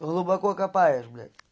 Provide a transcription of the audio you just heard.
глубоко копаешь блять